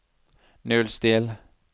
nullstill